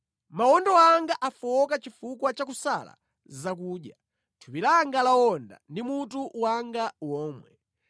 Mawondo anga afowoka chifukwa cha kusala zakudya, thupi langa lawonda ndi mutu wanga womwe.